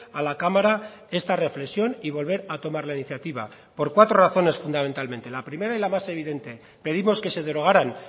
a la cámara esta reflexión y volver a tomar la iniciativa por cuatro razones fundamentalmente la primera y la más evidente pedimos que se derogaran